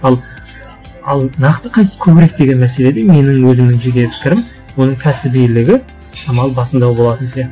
ал ал нақты көбірек деген мәселе де менің өзімнің жеке пікірім оның кәсібилігі шамалы басымдау болатын